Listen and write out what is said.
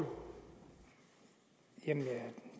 man